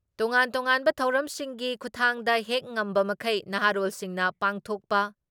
ꯇꯣꯉꯥꯟ ꯇꯣꯉꯥꯟꯕ ꯊꯧꯔꯝꯁꯤꯡꯒꯤ ꯈꯨꯊꯥꯡꯗ ꯍꯦꯛ ꯉꯝꯕꯃꯈꯩ ꯅꯍꯥꯔꯣꯜꯁꯤꯡꯅ ꯄꯥꯡꯊꯣꯛꯄ